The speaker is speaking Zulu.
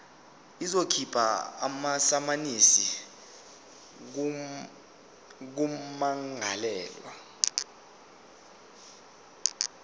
izokhipha amasamanisi kummangalelwa